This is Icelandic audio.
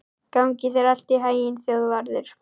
Gangi þér allt í haginn, Þjóðvarður.